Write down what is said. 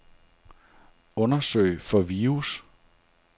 Undersøg for virus.